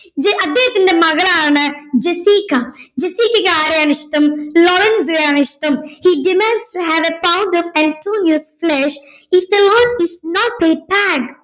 J അദ്ദേഹത്തിന്റെ മകളാണ് Jessica ജെസീക്കയ്ക്ക് ആരെയാണ് ഇഷ്ടം ലോറെൻസിനെയാണ് ഇഷ്ടം he demands to have a pound of antonio's flesh if the loan cant be paid